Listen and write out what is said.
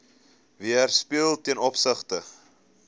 weerspieël ten opsigte